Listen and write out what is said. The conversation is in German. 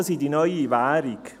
Daten sind die neue Währung.